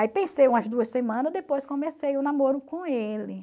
Aí pensei umas duas semanas, depois comecei o namoro com ele.